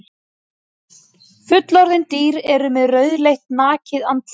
Fullorðin dýr eru með rauðleitt nakið andlit.